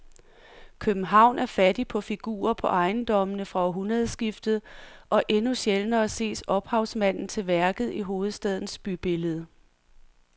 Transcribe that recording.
København er fattig på figurer på ejendommene fra århundredskiftet og endnu sjældnere ses ophavsmanden til værket i hovedstadens bybillede.